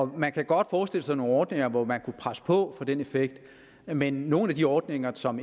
man kan godt forestille sig nogle ordninger hvor man kunne presse på for at få den effekt men i nogle af de ordninger som